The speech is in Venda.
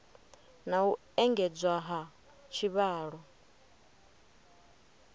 na u engedzwa ha tshivhalo